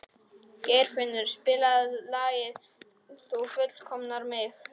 Geirfinnur, spilaðu lagið „Þú fullkomnar mig“.